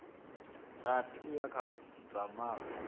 rathi uya kha dza malo